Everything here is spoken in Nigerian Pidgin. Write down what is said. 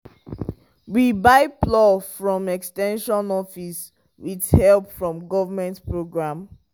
we buy plow from ex ten sion office with help from government program.